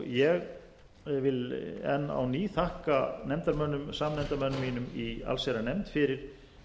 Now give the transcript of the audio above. ég vil enn á ný þakka samnefndarmönnum mínum í allsherjarnefnd fyrir